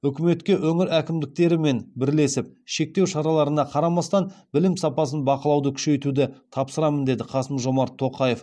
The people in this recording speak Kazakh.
үкіметке өңір әкімдерімен бірлесіп шектеу шараларына қарамастан білім сапасын бақылауды күшейтуді тапсырамын деді қасым жомарт тоқаев